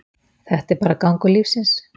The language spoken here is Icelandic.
Þetta er bara gangur lífsins.